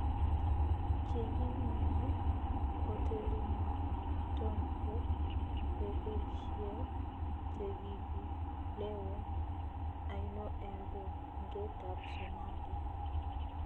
chegimenye otelinaton ko bengeisieg chegigilewen aino en bungetap somalia